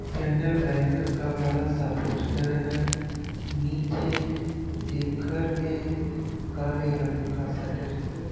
Canal bank का बड़ा सा पोस्टर है। नीचे एक घर में काले रंग का सटर है।